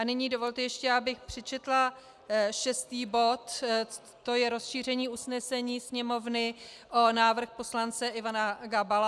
A nyní dovolte ještě, abych přečetla šestý bod, to je rozšíření usnesení Sněmovny o návrh poslance Ivana Gabala.